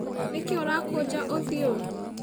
Nĩ kĩ ũrakũnja ũthiũ